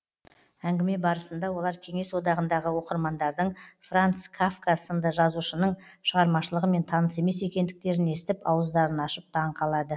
әңгіме барысында олар кеңес одағындағы оқырмандардың франц кафка сынды жазушының шығармашылығымен таныс емес екендіктерін естіп ауыздарын ашып таң қалады